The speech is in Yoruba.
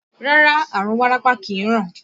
Rárá, àrùn wárápá kìí ràn